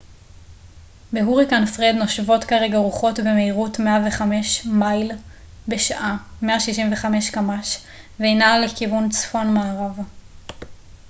"בהוריקן פרד נושבות כרגע רוחות במהירות 105 מייל בשעה 165 קמ""ש והיא נעה לכיוון צפון-מערב.